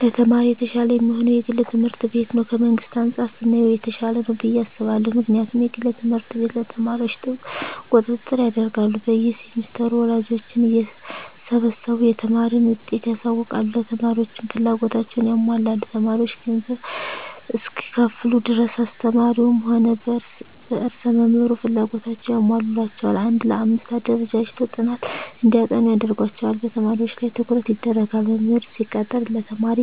ለተማሪ የተሻለ የሚሆነዉ የግል ትምህርት ቤት ነዉ ከመንግስት አንፃር ስናየዉ የተሻለ ነዉ ብየ አስባለሁ ምክንያቱም የግል ትምህርት ቤት ለተማሪዎች ጥብቅ ቁጥጥር ያደርጋሉ በየ ሴምስተሩ ወላጆችን እየሰበሰቡ የተማሪን ዉጤት ያሳዉቃሉ ለተማሪዎችም ፍላጎታቸዉን ያሟላሉ ተማሪዎች ገንዘብ እስከከፈሉ ድረስ አስተማሪዉም ሆነ ርዕሰ መምህሩ ፍላጎታቸዉን ያሟሉላቸዋል አንድ ለአምስት አደራጅተዉ ጥናት እንዲያጠኑ ያደርጓቸዋል በተማሪዎች ላይ ትኩረት ይደረጋል መምህር ሲቀጠር ለተማሪ